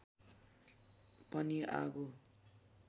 पनि आगो